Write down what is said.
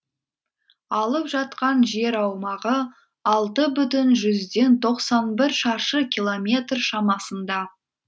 алып жатқан жер аумағы алты бүтін жүзден тоқсан бір шаршы километр шамасында